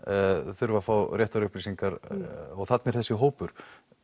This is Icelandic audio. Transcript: þurfa að fá réttar upplýsingar og þarna er þessi hópur